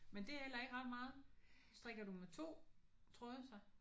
Men det er heller ikke ret meget. Strikker du med 2 tråde så?